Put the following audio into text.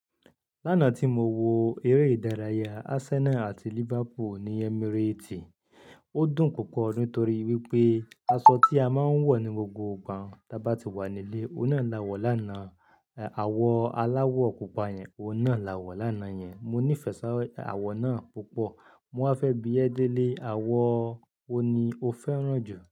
Lánàá tí mo wo eré ìdárayá Arsenal àti Liverpool ní Emirates, ó dùn púpọ̀ nítorí wípé aṣọ tí a máa ń wọ̀ ní gbogbo ìgbà tí a bá ti wà nílé, òun náà la wọ̀ lánàá. Àwo aláwọ̀ pupa yẹn, òun náà la wọ̀ lánàá yẹn. Mo nífẹ̀ẹ́ sá àwọ̀ náà púpọ̀. Mo wá fẹ́ bí ẹ délé àwọ̀ wo ni o fẹ́ràn jù?